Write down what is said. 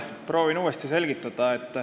Proovin uuesti selgitada.